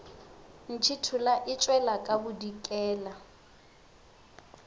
ntšhithola e tšwela ka bodikela